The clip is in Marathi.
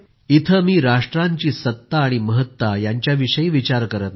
इथे मी राष्ट्रांची सत्ता आणि महत्ता यांच्याविषयी विचार करीत नाही